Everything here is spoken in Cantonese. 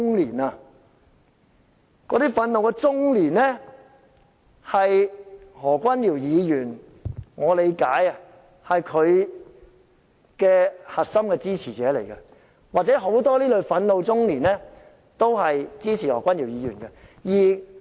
據我理解，那些憤怒中年是何君堯議員的核心支持者，或者說很多這類憤怒中年也支持何君堯議員。